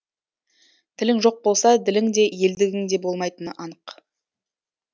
тілің жоқ болса ділің де елдігің де болмайтыны анық